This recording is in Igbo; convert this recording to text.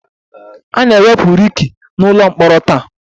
A na-ewepụ Ricky n'ụlọ mkpọrọ taa